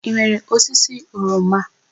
I nwere osisi oroma?